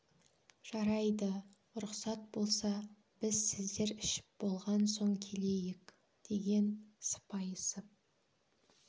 жарайды рұқсат болса біз сіздер ішіп болған соң келейік деген сыпайысып